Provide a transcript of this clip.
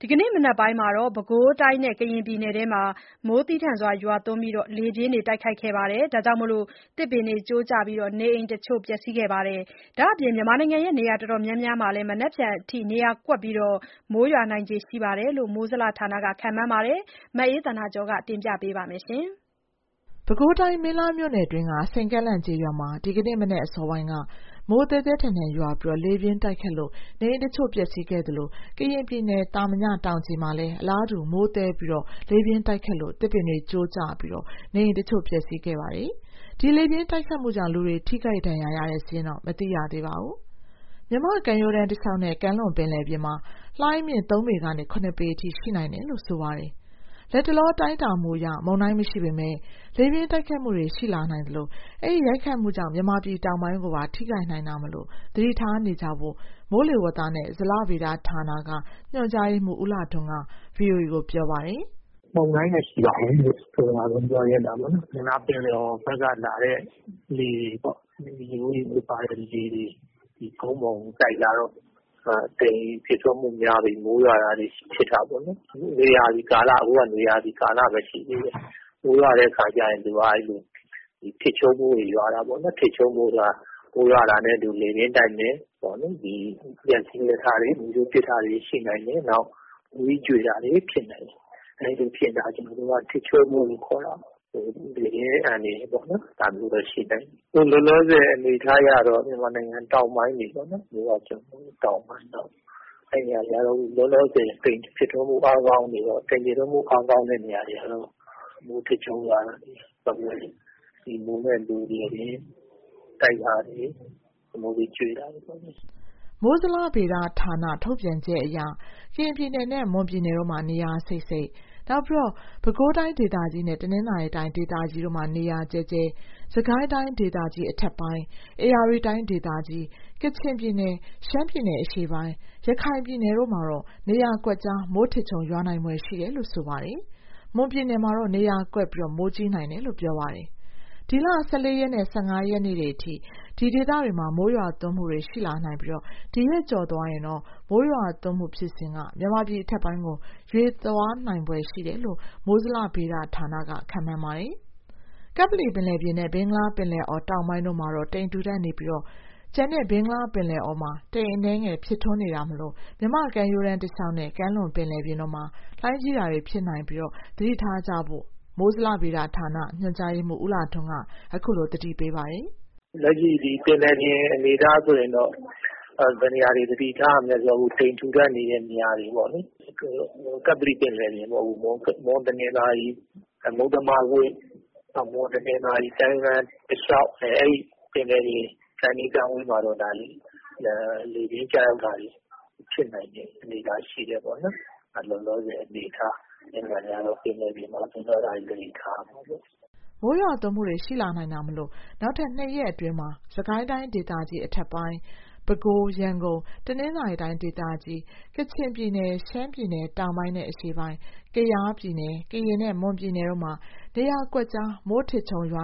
ဒီကနေ့ မနက်ပိုင်းက ပဲခူးတိုင်းနဲ့ ကရင်ပြည်နယ်အတွင်း မိုးသည်းထန်စွာ ရွာသွန်းပြီး လေပြင်း တိုက်ခတ်ခဲ့တာကြောင့် သစ်ပင်တွေ ကျိုးကျပြီး နေအိမ်တချို့ ပျက်ဆီးခဲ့ပါတယ်။ ဒါ့အပြင် မြန်မာနိုင်ငံ နေရာအတော်များများမှာလည်း မနက်ဖြန်အထိ နေရာကွက်ပြီး မိုးရွာနိုင်ခြေရှိတယ်လို့ မိုးဇလဌာနက ခန့်မှန်းထားပါတယ်။ ဒီအကြောင်း သတင်းပေးပို့ချက်ကို အခြေခံပြီး မအေးသန္တာကျော်က တင်ပြပေးပါမယ်။ ပဲခူးတိုင်း၊ မင်းလှမြို့နယ်အတွင်းက စိန်ကန့်လန့်ကျေးရွာမှာ ဒီကနေ့မနက် အစောပိုင်းက မိုးသည်းထန်စွာရွာသွန်းပြီး လေပြင်း တိုက်ခတ်မှုကြောင့် နေအိမ်တချို့ပျက်ဆီးခဲ့သလို ကရင်ပြည်နယ်၊ သာမညတောင်ခြေမှာလည်း အလားတူ မိုးသည်းပြီး လေပြင်း တိုက်ခတ်တာကြောင့် သစ်ပင်တွေကျိုးကျပြီး နေအိမ်တချို့ ပျက်ဆီးခဲ့ပါတယ်။ ဒီလေပြင်းတိုက်ခတ်မှုကြောင့် လူထိခိုက် ဒဏ်ရာရတဲ့ စာရင်းတော့ မသိရသေးပါဘူး။ မြန်မာ့ကမ်းရိုးတန်း တလျှောက်နဲ့ ကမ်းလွန်ပင်လယ်ပြင်မှာ လှိုင်းအမြင့် ၃ ပေကနေ ၇ ပေအထိ ရှိနိုင်တယ်လို့ ဆိုပါတယ်။ လတ်တလော တိုင်းတာမှုအရ မုန်တိုင်းမရှိပေမယ့် လေပြင်းတိုက်ခတ်မှုတွေ ရှိလာနိုင်သလို အဲဒီ ရိုက်ခတ်မှုကြောင့် မြန်မာပြည်တောင်ပိုင်းကိုပါ ထိခတ်နိုင်တာမို့ သတိထားနေကြဖို့ မိုးလေဝသနဲ့ ဇလဗေဒဌာနက ညွှန်ကြားရေးမှုး ဦးလှထွန်းက ဗွီအိုအေကို ပြောပါတယ်။ “မုန်တိုင်းမရှိဘူးဆိုတာ ပထမဆုံးပြောချင်တယ်။ ဘင်္ဂလားပင်လယ်အော်ဘက်ကလာတဲ့ လေတွေ၊ ရေခိုး ရေငွေ့ပါတဲ့ ရေတွေ ကုန်းပေါ်ကိုတိုက်လာတော့ တိမ်ဖြစ်ထွန်းမှုများပြီး မိုးရွာတာတွေ ဖြစ်လာနိုင်တာပေါ့နော်။ အခုကလည်း နွေရာသီကာလဘဲ ရှိသေးတယ်။ အဲတော့ မိုးရွာတဲ့အခါ ထစ်ချုန်းမိုးတွေ ရွာတာပေါ့နော်။ မိုးရွာတာနဲ့ လေပြင်းတိုက်မယ်။ လျှပ်စီးတိုက်တာတွေ၊ မိုးကြိုးပစ်တာတွေ ရှိလာနိုင်တယ်။ မိုးသီးကြွေတာတွေ ဖြစ်နိုင်တယ်။ အဲလိုတွေဖြစ်တာကို ထစ်ချုန်းမိုးတွေဖြစ်တယ်လို့ ပြောတာပေါ့နော်။ အဲဒါကြောင့် လေပြင်းအန္တရာယ် ဖြစ်လာနိုင်တယ်။ လောလောဆယ်အနေအထားကတော့ မြန်မာနိုင်ငံတောင်ပိုင်း၊ မြစ်ဝကျွန်းပေါ်တောင်ပိုင်းတွေပေါ့။ လောလောဆယ် တိမ်ဖြစ်ထွန်းမှု အားကောင်းနေတော့ မိုးထစ်ချုန်းရွာတာ၊ လေပြင်းတိုက်တာ၊ မိုးသီးကျွေတာတွေ ဖြစ်နိုင်တယ်။” မိုးဇလ ထုတ်ပြန်ပြောဆိုချက်အရ ကရင်ပြည်နယ်နဲ့ မွန်ပြည်နယ်တို့မှာ နေရာစိပ်စိပ်၊ ပဲခူးတိုင်းဒေသကြီးနဲ့ တနင်္သာရီတိုင်းဒေသကြီးတို့မှာ နေရာကျဲကျဲ၊ စစ်ကိုင်းတိုင်းဒေသကြီး အထက်ပိုင်း၊ ဧရာဝတီတိုင်းဒေသကြီး၊ ကချင်ပြည်နယ်၊ ရှမ်း ပြည်နယ်(အရှေ့ပိုင်း)၊ ရခိုင်ပြည်နယ်တို့မှာ နေရာကွက်ကျား မိုးထစ်ချုန်းရွာဖွယ်ရှိတယ် လို့ပြောပါတယ်။ မွန်ပြည်နယ်မှာတော့ နေရာကွက်ပြီး မိုးကြီးနိုင်တယ်လို့ ပြောပါတယ်။ ဒီလ ၁၄ ရက်နဲ့ ၁၅ရက်နေ့တွေအထိ ဒီဒေသတွေမှာ မိုးရွာသွန်းမှုတွေ ရှိလာနိုင်ပြီး ဒီရက်ကျော်သွားရင်တော့ မိုးရွာသွန်းမှု ဖြစ်စဉ်ဟာ မြန်မာပြည်အထက်ပိုင်းကို ရွေ့သွားနိုင်ဖွယ်ရှိတယ်လို့ မိုးဇလဘက်က မှန်းထားပါတယ်။ ကပ္ပလီပင်လယ်ပြင်နဲ့ ဘင်္ဂလားပင်လယ်အော်တောင်ပိုင်းတို့မှာ တိမ်ထူထပ်နေပြီး၊ ကျန်ဘင်္ဂလားပင်လယ်အော်မှာ တိမ်အနည်းငယ် ဖြစ်ထွန်းနေတာမို့ မြန်မာ့ကမ်းရိုးတန်းတစ်လျှောက်နဲ့ ကမ်းလွန်ပင်လယ်ပြင်တို့မှာ လှိုင်းကြီးတာတွေ ဖြစ်နိုင်တာမို့ သတိထားကြဖို့ ဇလဗေဒဌာနက ညွှန်ကြားရေးမှုး ဦးလှထွန်းက သတိပေးပါတယ်။ “လက်ရှိ ပင်လယ်ပြင် အနေအထားဆိုရင်တော့ ဘယ်နေရာတွေ သတိထားရမလဲဆိုရင် တိမ်ထူထပ် နေတဲ့နေရာတွေပေါ့နော်။ ကပ္ပလီပင်လယ်ပြင်ပေါ့။ မွန်၊ တနင်္သာရီ၊ မုတ္တမကွေ့၊ မွန်တနင်္သာရီကမ်းရိုးတန်းတလျှောက် ပင်လယ်ပြင် ကမ်းနီး ကမ်းဝေးမှာတော့ လေပြင်းကျရောက်တာတွေ ဖြစ်နိုင်တဲ့ အနေအထားရှိတယ်။ လောလောဆယ် အနေအထားအရ ပင်လယ်ပြင်မှာ ဒါတွေသတိထား ရမှာပေါ့။” မိုးရွာသွန်းမှုတွေရှိလာနိုင်တာမို့ နောက် ၂ရက်အတွင်းမှာ စစ်ကိုင်းတိုင်းဒေသကြီး အထက်ပိုင်း၊ ပဲခူး၊ ရန်ကုန်၊ တနင်္သာရီတိုင်းဒေသကြီးတွေ၊ ကချင်ပြည်နယ်၊ ရှမ်းပြည်နယ်(တောင်ပိုင်းနဲ့ အရှေ့ပိုင်း)၊ ကယား၊ ကရင်နဲ့ မွန်ပြည်နယ်တို့မှာ နေရာကွက်ကျား မိုးထစ်ချုန်းရွ